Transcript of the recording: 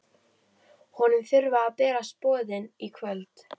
Honum þurfa að berast boðin í kvöld.